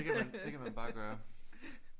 Det kan man bare gøre